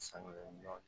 Sanuya